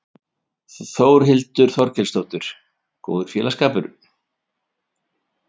Þórhildur Þorkelsdóttir: Góður félagsskapur?